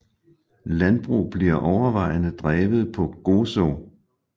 Landbrug bliver overvejende drevet på Gozo